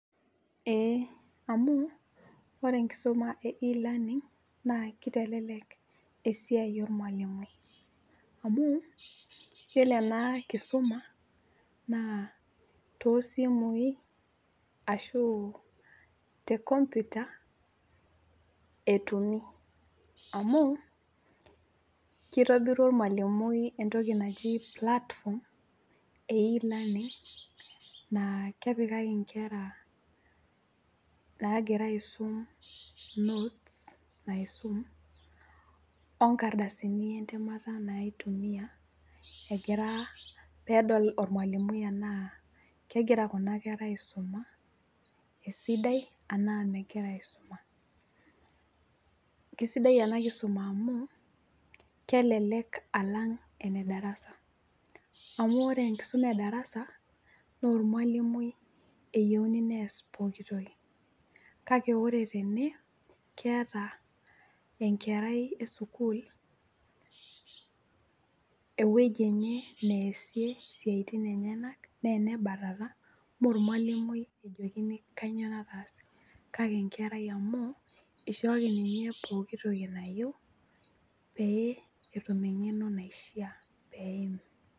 Eeh amuu ore enkisoma e e-learning naa keitelelek esiai olmalimui amu iyiolo ena kisuma naa toosimui ashuu tenkomputa etumi. Amuu keitobiru olmalimui entoki naji  platform e e-learning naa kepikaki nkera naagira aisum notes naaisum onkardasini entemata naaitumia egiraa peedol olmalimui enaa kegira kuna kerah aisuma esidai anaa megira aisuma. Kesidai ena kisuma amu kelelek alang' enedarasa amu ore enkisuma edarasa noolmwalimui eyeuni neas pooki toki kake ore tene keeta enkerai esukul ewueji enye neasie siaitin enyenak neenebatata moormwalimui ejokini kanyoo nataase kake enkerai amu eishooki ninye pooki toki nayeu pee etum eng'eno naishiaa peeim.